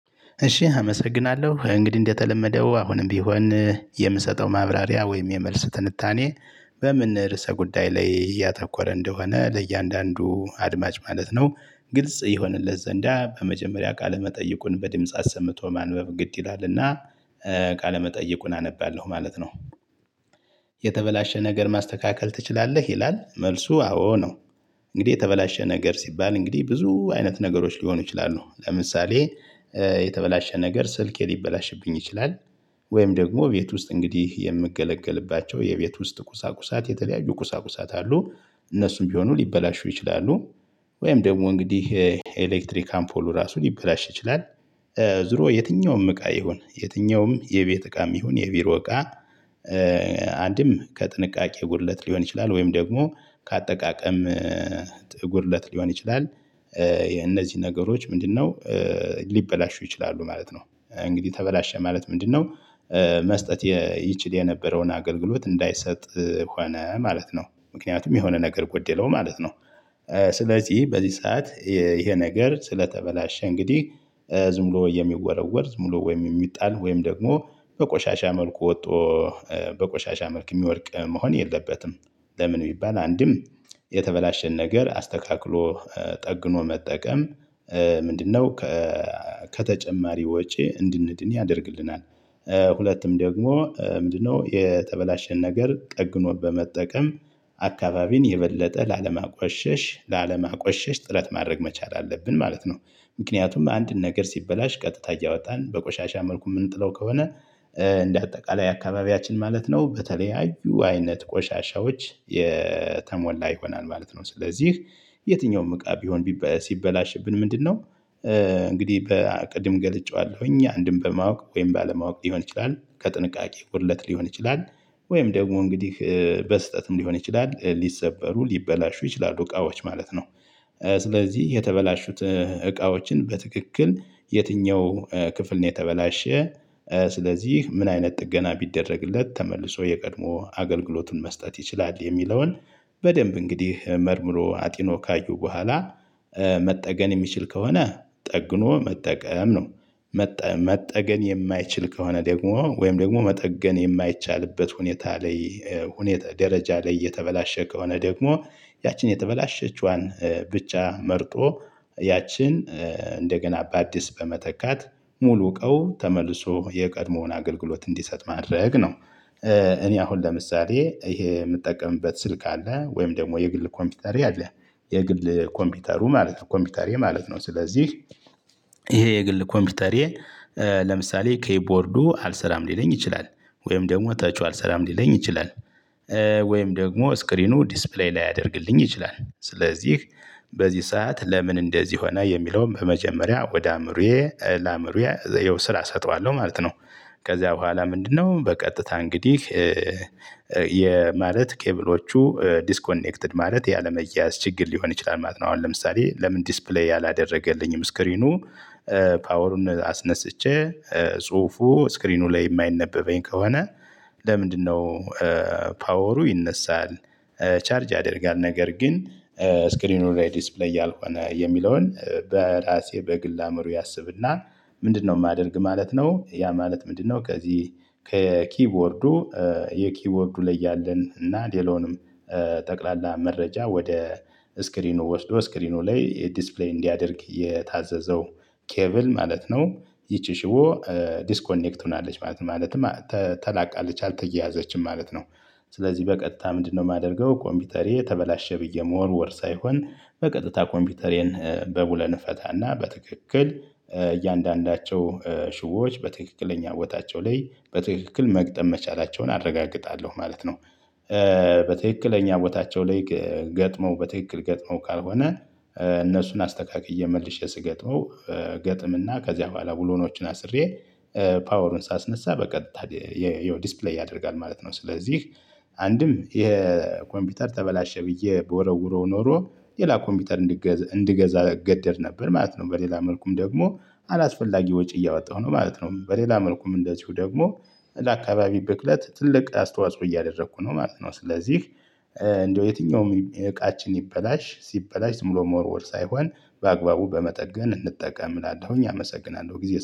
እሺ አመሰግናለሁ እንግዲህ እንደተለመደው አሁንም ቢሆን የምሰጠው ማብራሪያ ወይም የመልስ ትንታኔ በምን ርዕሰ ጉዳይ ላይ እያተኮረ እንደሆነ ለእያንዳንዱ አድማጭ ማለት ነው። ግልጽ ይሆንለት ዘንድ በመጀመሪያ ቃለመጠይቁን በድምጽ አሰምቶ ማንበብ ግድ ይላልና። ቃለመጠይቁን አነባለሁ ማለት ነው። የተበላሸ ነገር ማስተካከል ትችላለህ? ይላል መልሱ አዎ ነው። እንግዲህ የተበላሸ ነገር ሲባል እንግዲህ ብዙ አይነት ነገሮች ሊሆኑ ይችላሉ ለምሳሌ። የተበላሸ ነገር ስልኬ ሊበላሽብኝ ይችላል። ወይም ደግሞ ቤት ውስጥ እንግዲህ የምገለገልባቸው የቤት ውስጥ ቁሳቁሳት የተለያዩ ቁሳቁሳት አሉ። እነሱም ቢሆኑ ሊበላሹ ይችላሉ። ወይም ደግሞ እንግዲህ የኤሌክትሪክ አምፎሉ ራሱን ሊበላሽ ይችላል። ዞሮ የትኛውም እቃ ይሁን የትኛውም የቤት እቃም ይሁን የቢሮ እቃ። አንድም ከጥንቃቄ ጉድለት ሊሆን ይችላል ወይም ደግሞ ከአጠቃቀም ጥጉር እለት ሊሆን ይችላል። የነዚህ ነገሮች ምንድነው? ሊበላሹ ይችላሉ ማለት ነው እንግዲህ ተበላሸ ማለት ምንድነው? መስጠት ይችል የነበረውን አገልግሎት እንዳይሰጥ ሆነ ማለት ነው ምክንያቱም የሆነ ነገር ጉደለው ማለት ነው። ስለዚህ በዚህ ሰዓት ይሄ ነገር ስለተበላሸ እንግዲህ ዝም ብሎ የሚወረወር ዝም ብሎ ወይም የሚጣል ወይም ደግሞ በቆሻሻ መልኩ ወጥቶ በቆሻሻ መልክ የሚወድቅ መሆን የለበትም። ለምን ቢባል አንድም የተበላሸ ነገር አስተካክሎ ጠግኖ መጠቀም ምንድነው? ከተጨማሪ ወጪ እንድንድን ያደርግልናል። ሁለቱም ደግሞ ምንድነው የተበላሸ ነገር ቀግኖ በመጠቀም አካባቢን የበለጠ ላለማቆሸሽ ጥረት ማድረግ መቻል አለብን ማለት ነው። ምክንያቱም አንድን ነገር ሲበላሽ ቀጥታ እያወጣን በቆሻሻ መልኩ የምንጥለው ከሆነ እንደ አጠቃላይ አካባቢያችን ማለት ነው በተለያዩ አይነት ቆሻሻዎች የተሞላ ይሆናል ማለት ነው። ስለዚህ የትኛውም እቃ ቢሆን ሲበላሽብን ምንድነው? እንግዲህ በቅድም ገልጬዋለሁ እኛ አንድም በማወቅ ወይም ባለማወቅ ሊሆን ይችላል ከጥንቃቄ ጉድለት ሊሆን ይችላል። ወይም ደግሞ እንግዲህ በስህተትም ሊሆን ይችላል ሊሰበሩ ሊበላሹ ይችላሉ እቃዎች ማለት ነው። ስለዚህ የተበላሹት እቃዎችን በትክክል የትኛው ክፍል ነው የተበላሸ ስለዚህ ምን አይነት ጥገና ቢደረግለት ተመልሶ የቀድሞ አገልግሎቱን መስጠት ይችላል የሚለውን በደንብ እንግዲህ መርምሮ አጢኖ ካዩ በኋላ መጠገን የሚችል ከሆነ ጠግኖ መጠቀም ነው። መጠገን የማይችል ከሆነ ደግሞ ወይም ደግሞ መጠገን የማይቻልበት ሁኔታ ላይ ደረጃ ላይ እየተበላሸ ከሆነ ደግሞ ያችን የተበላሸችዋን ብቻ መርጦ ያችን እንደገና በአዲስ በመተካት ሙሉ እውቀው ተመልሶ የቀድሞውን አገልግሎት እንዲሰጥ ማድረግ ነው። እኔ አሁን ለምሳሌ ይሄ የምጠቀምበት ስልክ አለ ወይም ደግሞ የግል ኮምፒውተሬ ያለ የግል ኮምፒውተሩ ማለት ነው ኮምፒውተሬ ማለት ነው ስለዚህ ይሄ የግል ኮምፒውተሬ ለምሳሌ ኪቦርዱ አልሰራም ሊለኝ ይችላል። ወይም ደግሞ ተቹ አልሰራም ሊለኝ ይችላል። ወይም ደግሞ ስክሪኑ ዲስፕሌይ ላያደርግልኝ ይችላል ስለዚህ በዚህ ሰዓት ለምን እንደዚህ ሆነ የሚለውን በመጀመሪያ ለአዕምሩዬ ስራ እሰጠዋለሁ ማለት ነው። ከዝያ በኋላ ምንድነው በቀጥታ እንግዲህ ማለት ኬብሎቹ ዲስኮኔክትድ ማለት ያለመያያዝ ችግር ሊሆን ይችላል። ማለት ነው አሁን ለምሳሌ ለምን ዲስፕሌይ ያላደረገልኝም ስክሪኑ ፓወሩን አስነስቼ ጽሁፉ ስክሪኑ ላይ የማይነበበኝ ከሆነ ለምንድነው? ፓወሩ ይነሳል። ቻርጅ ያደርጋል ነገር ግን ስክሪኑ ላይ ዲፕሌይ ያልሆነ የሚለውን በራሴ በግል አእምሮ ያሰብና ምንድነው የማደርግ ማለት ነው። ያ ማለት ምንድነው? ከዚህ የኪቦርዱ ላይ ያለን እና ሌላውንም ጠቅላላ መረጃ ወደ ስክሪኑ ወስዶ ስክሪኑ ላይ ዲስፕሌይ እንዲያደርግ የታዘዘው ኬብል ማለት ነው። ይቺ ሽቦ ዲስኮኔክት ሆናለች ማለት ነው። ማለት ተላቀቃለች አልተያያዘችም ማለት ነው። ስለዚህ በቀጥታ ምንድነው የማደርገው? ኮምፒውተሬ ተበላሸ ብዬ መወርወር ሳይሆን በቀጥታ ኮምፒውተሬን በብለን እፈታና በትክክል እያንዳንዳቸው ሽቦች በትክክለኛ ቦታቸው ላይ በትክክል መግጠም መቻላቸውን አረጋግጣለሁ ማለት ነው። በትክክለኛ ቦታቸው ላይ ገጥመው በትክክል ገጥመው ካልሆነ እነሱን አስተካክዬ መልሼ ስገጥመው ገጥምና ከዚያ በኋላ ብሎኖችን አስሬ ፓወሩን ሳስነሳ በቀጥታ የዲስፕሌይ ያደርጋል ማለት ነው። ስለዚህ አንድም የኮምፒውተር ተበላሸ ብዬ በወረውረው ኖሮ ሌላ ኮምፒውተር እንድገዛ እገደድ ነበር ማለት ነው። በሌላ መልኩም ደግሞ አላስፈላጊ ወጪ እያወጣሁ ነው ማለት ነው። በሌላ መልኩም እንደዚሁ ደግሞ ለአካባቢ ብክለት ትልቅ አስተዋጽኦ እያደረኩ ነው ማለት ነው። ስለዚህ እንደው የትኛውም እቃችን ሲበላሽ ዝምብሎ መወርወር ሳይሆን በአግባቡ በመጠገን እንጠቀምላለሁኝ አመሰግናለሁ። ጊዜ